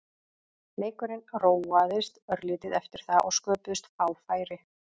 Leikurinn róaðist örlítið eftir það og sköpuðust fá færi.